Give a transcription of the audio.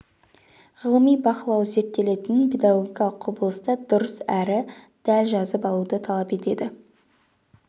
ғылыми бақылау зерттелетін педагогикалық құбылысты дұрыс әрі дәл жазып алуды талап етеді